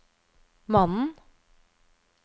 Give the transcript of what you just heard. mannen